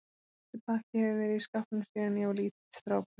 Þessi pakki hefur verið í skápnum síðan ég var lítill strákur.